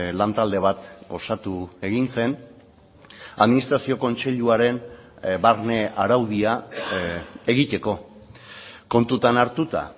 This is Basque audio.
lantalde bat osatu egin zen administrazio kontseiluaren barne araudia egiteko kontutan hartuta